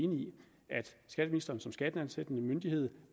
at skatteministeren som skatteansættende myndighed